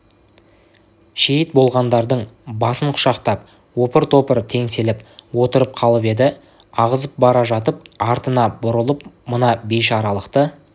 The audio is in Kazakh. шейіт болғандардың басын құшақтап опыр-топыр теңселіп отырып қалып еді ағызып бара жатып артына бұрылып мына бейшаралықты